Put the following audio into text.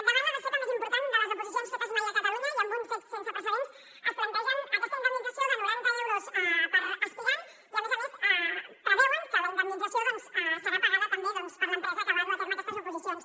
davant la desfeta més important de les oposicions fetes mai a catalunya i amb un fet sense precedents es plantegen aquesta indemnització de noranta euros per aspirant i a més a més preveuen que la indemnització serà pagada també per l’empresa que va dur a terme aquestes oposicions